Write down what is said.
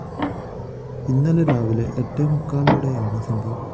ഇന്നലെ രാവിലെ എട്ടേ മുക്കാലോടെയാണ് സംഭവം